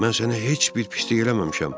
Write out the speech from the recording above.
Mən sənə heç bir pislik eləməmişəm.